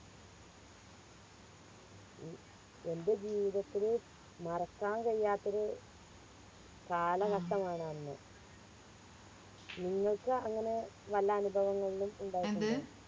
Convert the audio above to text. A എൻറെ ജീവിതത്തില് മറക്കാൻ കഴിയാത്തൊരു കാലഘട്ടമാണ് അന്ന് നിങ്ങൾക് അങ്ങനെ വല്ല അനുഭവങ്ങളിലും ഇണ്ടായിട്ടുണ്ടോ